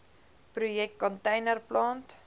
projek container plant